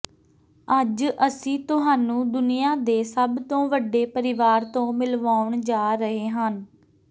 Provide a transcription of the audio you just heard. ਅੱਜ ਅਸੀਂ ਤੁਹਾਨੂੰ ਦੁਨੀਆਂ ਦੇ ਸਭ ਤੋਂ ਵੱਡੇ ਪਰਿਵਾਰ ਤੋਂ ਮਿਲਵਾਉਣ ਜਾ ਰਹੇ ਹਨ